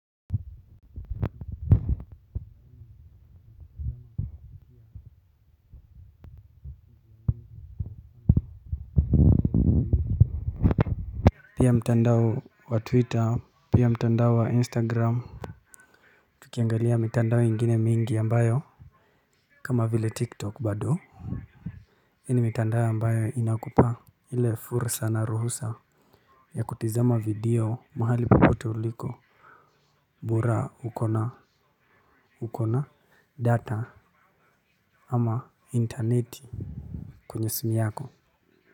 Pia mtandao wa twitter pia mtandao wa instagram. Tukiangalia mtandao mengine mingi ambayo kama vile tiktok bado hii ni mtandao ambayo inakupa ile fursa na ruhusa ya kutazama video mahali popote uliko bora uko na uko na data ama internet kwenye simu yako.